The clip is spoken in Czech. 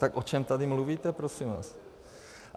Tak o čem tady mluvíte prosím vás?